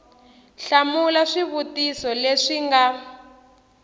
hlamula swivutiso leswi swi nga